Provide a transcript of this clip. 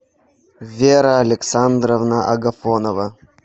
вера александровна агафонова